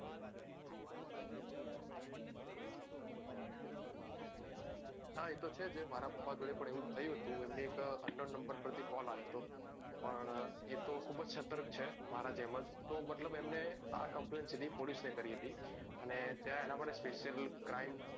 હા એતો છે જ મારા પાપા પણ એવું થયું તું એમને એક unknown number પાર થી કોલ આયો તો એ પણ ખુબ સતર્ક છે મારા જેમ જ તો મતલબ એમને આ complain ને કરી હતી અને ત્યાં એના માટે special crime